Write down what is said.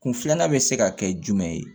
Kun filanan bɛ se ka kɛ jumɛn ye